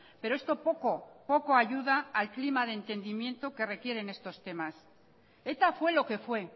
pero esto poco poco ayuda al clima de entendimiento que requieren estos temas eta fue lo que fue